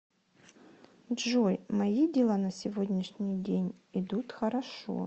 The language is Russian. джой мои дела на сегодняшний день идут хорошо